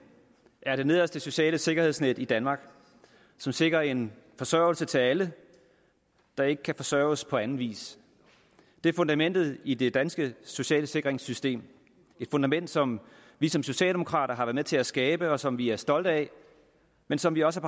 er det nederste sociale sikkerhedsnet i danmark som sikrer en forsørgelse til alle der ikke kan forsørges på anden vis det er fundamentet i det danske sociale sikringssystem et fundament som vi som socialdemokrater har været med til at skabe og som vi er stolte af men som vi også